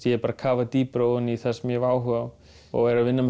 ég er að kafa dýpra í það sem ég hef áhuga á og er að vinna með